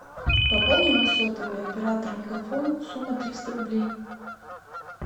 пополни мой сотовый оператор мегафон сумма триста рублей